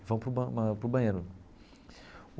e vão para o ba para o banheiro.